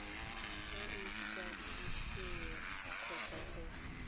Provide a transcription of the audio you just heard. fa go ikwadisiwa kgotsa go